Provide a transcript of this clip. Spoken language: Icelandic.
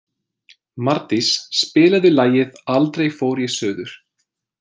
Mardís, spilaðu lagið „Aldrei fór ég suður“.